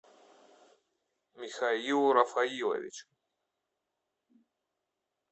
михаилу рафаиловичу